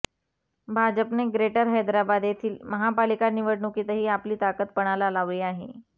भाजपने ग्रेटर हैदराबाद येथील महापालिका निवडणुकीतही आपली ताकद पणाला लावली आहे